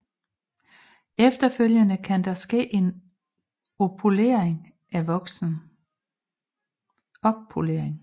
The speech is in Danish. Efterfølgende kan der ske en oppolering af voksen